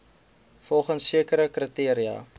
volgens sekere kriteria